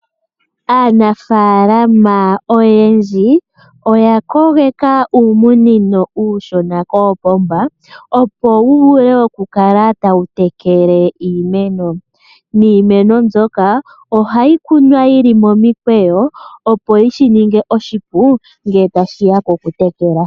Aanafalama oyendji iya kogeka uumunino uushona koopomba, opo wu vule oku kala tawu tekele iimeno. Iimeno mbyoka ohayi kunwa yili momikweyo, opo shi ninge oshipu ngele tashiya kokutekela.